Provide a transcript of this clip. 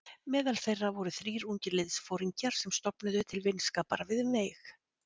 Meðal þeirra voru þrír ungir liðsforingjar sem stofnuðu til vinskapar við mig.